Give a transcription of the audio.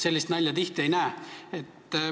Sellist nalja tihti ei näe.